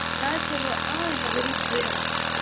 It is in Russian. начала а говори б